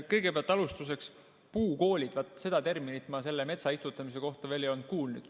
Kõigepealt alustuseks: terminit "puukoolid" ma metsaistutamise kohta veel ei olnud kuulnud.